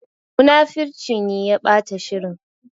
Munafurcin ne ya ɓata shirin.